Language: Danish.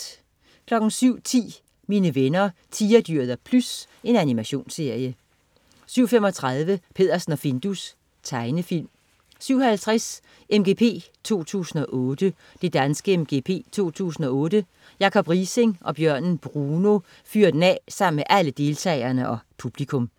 07.10 Mine venner Tigerdyret og Plys. Animationsserie 07.35 Peddersen og Findus. Tegnefilm 07.50 MGP 2008. Det danske MGP 2008. Jacob Riising og bjørnen Bruno fyrer den af sammen med alle deltagerne og publikum